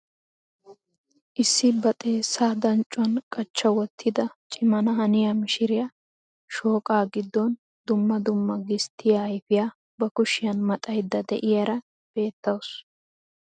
Issi ba xeessaa danccuwaan qachcha wottida cimana haniyaa mishiriyaa shooqaa giddon dumma dumma gisttiyaa ayfiyaa ba kushiyaan maxayda de'iyaara bettawus.